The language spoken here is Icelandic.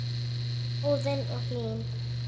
Óðinn og Hlín.